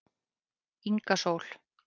Inga Sól